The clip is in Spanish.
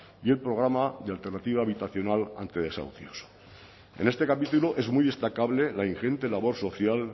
y el programa de alternativa habitacional ante desahucios en este capítulo es muy destacable la ingente labor social